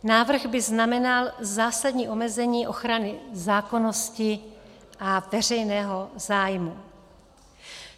Návrh by znamenal zásadní omezení ochrany zákonnosti a veřejného zájmu.